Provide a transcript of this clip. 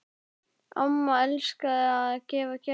Amma elskaði að gefa gjafir.